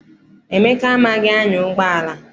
Emeka amaghị anya ụgbọala.